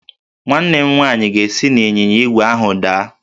Nwa m nwanyị ga-esi n'ịnyịnya ígwè ahụ daa